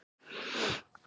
Amma mín þá ertu farin.